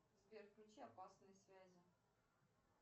сбер включи опасные связи